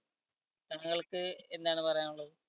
നിങ്ങൾക്ക് എന്താണ് പറയാനുള്ളത്?